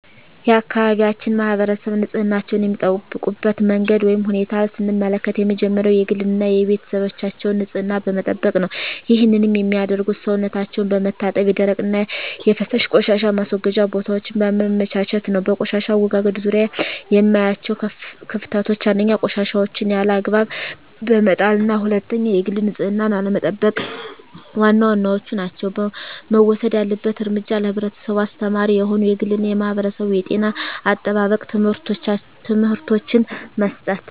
የአካባቢያችን ማህበረሰብ ንፅህናቸዉን የሚጠብቁበት መንገድ ወይም ሁኔታን ስንመለከት የመጀመሪያዉ የግል እና የቤተሰባቸዉን ንፅህና በመጠበቅ ነዉ ይህንንም የሚያደርጉት ሰዉነታቸዉን በመታጠብ የደረቅና የፈሳሽ ቆሻሻ ማስወገጃ ቦታወችን በማመቻቸት ነዉ። በቆሻሻ አወጋገድ ዙሪያ የማያቸዉ ክፍተቶች፦ 1. ቆሻሻወችን ያለ አግባብ በመጣልና 2. የግል ንፅህናን አለመጠቅ ዋና ዋናወቹ ናቸዉ። መወሰድ ያለበት እርምጃ ለህብረተሰቡ አስተማሪ የሆኑ የግልና የማህበረሰብ የጤና አጠባበቅ ትምህርቶችን መስጠት።